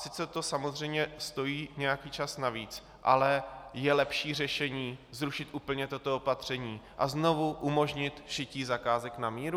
Sice to samozřejmě stojí nějaký čas navíc, ale je lepší řešení zrušit úplně toto opatření a znovu umožnit šití zakázek na míru?